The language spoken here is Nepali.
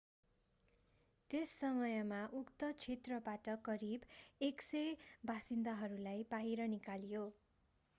त्यस समयमा उक्त क्षेत्रबाट करिब 100 बासिन्दाहरूलाई बाहिर निकालियो